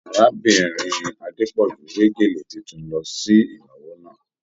Arábìnrin Adepọju we gélé títún lọ sí ìnáwó náà.